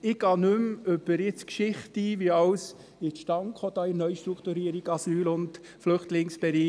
Ich gehe nicht mehr auf die Geschichte ein, wie bei der Neustrukturierung im Asyl- und Flüchtlingsbereich alles zustande kam.